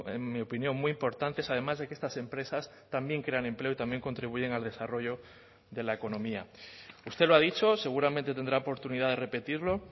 en mi opinión muy importantes además de que estas empresas también crean empleo y también contribuyen al desarrollo de la economía usted lo ha dicho seguramente tendrá oportunidad de repetirlo